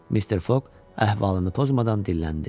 Mister Foq əhvalını pozmadan dilləndi.